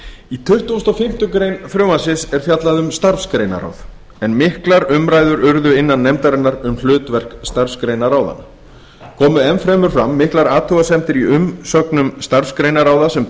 í tuttugasta og fimmtu grein frumvarpsins er fjallað um starfsgreinaráð en miklar umræður urðu innan nefndarinnar um hlutverk starfsgreinaráðanna komu enn fremur fram miklar athugasemdir í umsögnum starfsgreinaráða sem